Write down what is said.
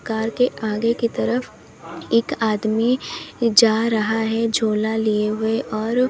car के आगे की तरफ एक आदमी जा रहा है झोला लिए हुए और--